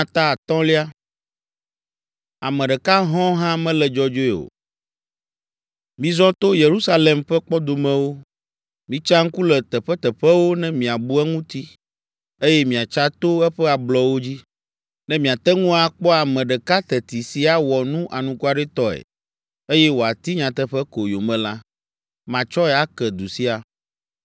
“Mizɔ to Yerusalem ƒe kpɔdomewo, mitsa ŋku le teƒeteƒewo ne miabu eŋuti eye miatsa to eƒe ablɔwo dzi. Ne miate ŋu akpɔ ame ɖeka teti si awɔ nu anukwaretɔe eye wòati nyateƒe ko yome la, matsɔe ake du sia.